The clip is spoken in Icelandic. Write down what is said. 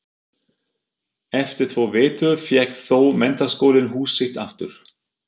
Eftir tvo vetur fékk þó Menntaskólinn hús sitt aftur.